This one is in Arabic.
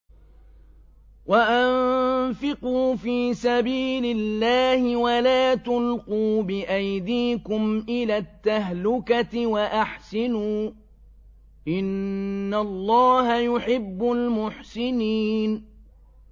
وَأَنفِقُوا فِي سَبِيلِ اللَّهِ وَلَا تُلْقُوا بِأَيْدِيكُمْ إِلَى التَّهْلُكَةِ ۛ وَأَحْسِنُوا ۛ إِنَّ اللَّهَ يُحِبُّ الْمُحْسِنِينَ